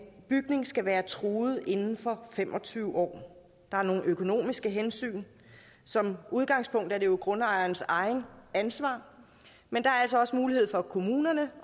bygning skal være truet inden for fem og tyve år og der er nogle økonomiske hensyn som udgangspunkt er det jo grundejerens eget ansvar men der er altså også mulighed for kommunerne